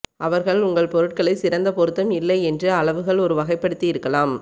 அவர்கள் உங்கள் பொருட்களை சிறந்த பொருத்தம் இல்லை என்று அளவுகள் ஒரு வகைப்படுத்தி இருக்கலாம்